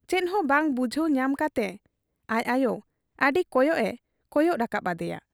ᱪᱮᱫᱦᱚᱸ ᱵᱟᱝ ᱵᱩᱡᱷᱟᱹᱣ ᱧᱟᱢ ᱠᱟᱴᱮ ᱟᱡ ᱟᱭᱚ ᱟᱹᱰᱤ ᱠᱚᱭᱚᱜ ᱮ ᱠᱚᱭᱚᱜ ᱨᱟᱠᱟᱵ ᱟᱫᱮᱭᱟ ᱾